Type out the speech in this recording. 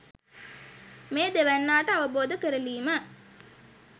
මේ දෙවැන්නාට අවබෝධ කරලීම